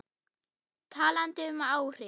Talandi um áhrif.